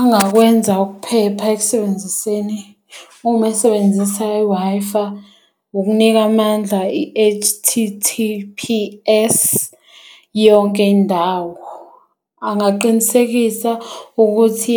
Angakwenza ukuphepha ekusebenziseni uma esebenzisa iway'fa, ukunika amandla i-H_T_T_P_S yonke indawo. Angaqinisekisa ukuthi